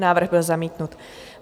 Návrh byl zamítnut.